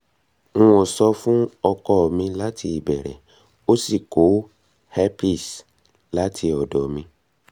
n ò sọ fún ọkọ mi láti ìbẹ̀rẹ̀ ó sì kó herpes láti ọ̀dọ̀ mi